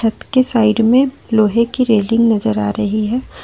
छत के साइड में लोहे की रेलिंग नजर आ रही है।